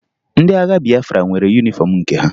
Ndị agha Bịafra nwere yunifọmụ nke ha